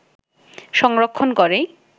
সংরক্ষণ করেই